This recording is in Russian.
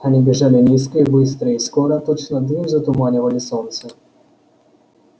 они бежали низко и быстро и скоро точно дым затуманивали солнце